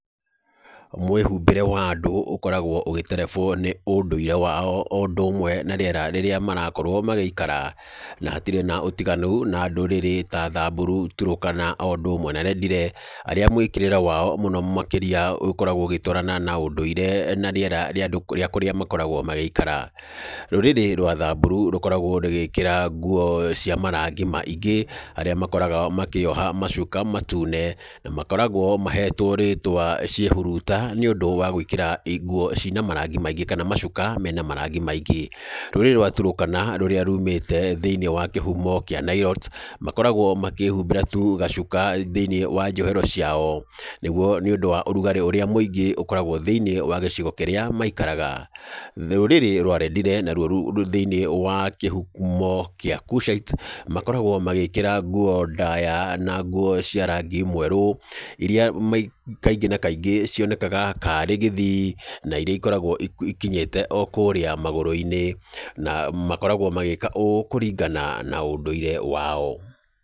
Mwĩhumbĩre wa andũ ũkoragwo ũgĩterebwo nĩ ũndũire wao o ũndũ ũmwe na rĩera rĩrĩa marakorwo magĩikara. Na hatirĩ na ũtiganu na ndũrĩrĩ ta Samburu, Turkana o ũndũ ũmwe na Rendile, arĩa mwĩkĩrĩre wao mũno makĩria ũkoragwo ũgĩtwarana na ũndũire na rĩera rĩa andũ rĩa kũrĩa makoragwo magĩikara. Rũrĩrĩ rwa Samburu, rũkoragwo rũgĩkĩra nguo cia marangi maingĩ, arĩa makoragwo makĩyoha macuka matune, na makoragwo mahetwo rĩĩtwa ciĩhuruta nĩ ũndũ wa gwĩkĩra nguo cina marangi maingĩ kana macuka mena marangi maingĩ. Rũrĩrĩ rwa Turkana, rũrĩa rumĩte thĩiniĩ wa kĩhumo kĩa Nilotes, makoragwo makĩhumbĩra tu gacuka thĩiniĩ wa njohero ciao, nĩguo nĩ ũndũ wa ũrugarĩ ũrĩa mũingĩ ũkoragwo thĩiniĩ wa gĩcigo kĩrĩa maikaraga. Rũrĩrĩ rwa Rendile naruo rwĩ thĩiniĩ wa kĩhumo kĩa Cushites. Makoragwo magĩkĩra nguo ndaaya na nguo cia rangi mwerũ, irĩa kaingĩ na kaingĩ cionekaga karĩ gĩthii na irĩa ikoragwo ikĩnyite o kũũrĩa magũrũ-inĩ, na makoragwo magĩka ũũ kũringana na ũndũire wao.